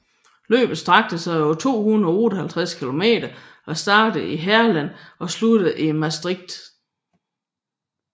Løbet strakte sig over 258 kilometer og startede i Heerlen og sluttede i Maastricht